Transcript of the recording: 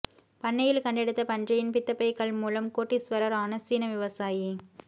பண்ணையில் கண்டெடுத்த பன்றியின் பித்தப்பை கல் மூலம் கோடீசுவரர் ஆன சீன விவசாயி